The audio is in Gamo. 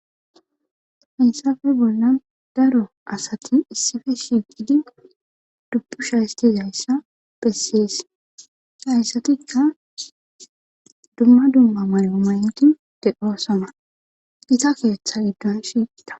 Hayssafe boolan daro asati issife shiiqidi dubbusha isizzayssa bessees hayssatikka dumma dumma mayo mayidi de7oosona iza keettan gaashintta.